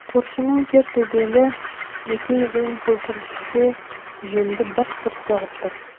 көршінің кер төбелі екі езуін көпіршіте жемді бырт бырт соғып тұр